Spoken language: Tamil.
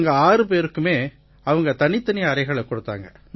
எங்க ஆறு பேருக்குமே அவங்க தனித்தனி அறைகளைக் கொடுத்தாங்க